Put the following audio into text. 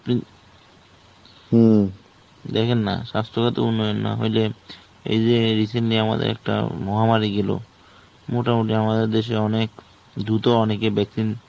হম. দেখেন না, স্বাস্থ্যগত উন্নয়ন না হইলে এই যে recently আমাদের একটা মহামারী গেল. মোটামুটি আমাদের দেশে অনেক দ্রুত অনেকে vaccine